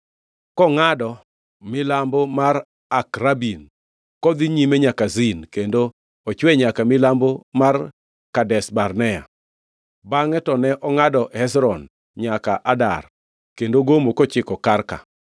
kongʼado milambo mar Akrabim, kodhi nyime nyaka Zin, kendo ochwe nyaka milambo mar Kadesh Barnea. Bangʼe to ne ongʼado Hezron nyaka Adar kendo gomo kochiko Karka.